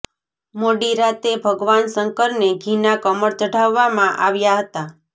મોડી રાતે ભગવાન શંકરને ઘીના કમળ ચઢાવવામાં આવ્યા હતા